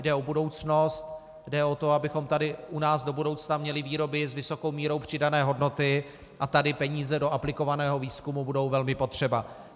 Jde o budoucnost, jde o to, abychom tady u nás do budoucna měli výroby s vysokou mírou přidané hodnoty, a tady peníze do aplikovaného výzkumu budou velmi potřeba.